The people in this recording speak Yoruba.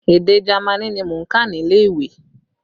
Èdè Jamaní ni mò ń kà nílé ìwé